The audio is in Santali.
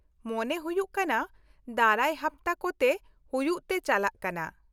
-ᱢᱚᱱᱮ ᱦᱩᱭᱩᱜ ᱠᱟᱱᱟ ᱫᱟᱨᱟᱭ ᱦᱟᱯᱛᱟ ᱠᱚᱛᱮ ᱦᱩᱭᱩᱜ ᱛᱮ ᱪᱟᱞᱟᱜ ᱠᱟᱱᱟ ᱾